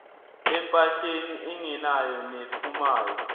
empahleni engenayo nephumayo